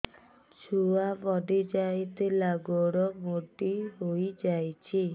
ଛୁଆ ପଡିଯାଇଥିଲା ଗୋଡ ମୋଡ଼ି ହୋଇଯାଇଛି